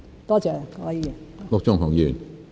多謝陸議員。